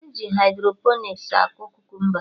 E ji hydroponiks akọ kukumba